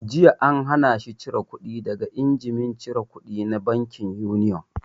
Jiya an hana shi cire kuɗi daga injimin cire kudi na bankin Union!